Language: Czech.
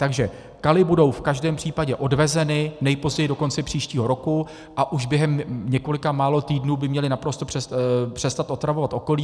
Takže kaly budou v každém případě odvezeny nejpozději do konce příštího roku a už během několika málo týdnů by měly naprosto přestat otravovat okolí.